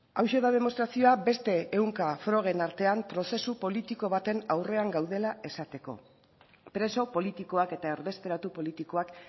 hauxe da demostrazioa beste ehunka frogen artean prozesu politiko baten aurrean gaudela esateko preso politikoak eta erbesteratu politikoak